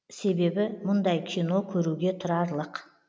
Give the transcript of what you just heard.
себебі мұндай кино көруге тұрарлық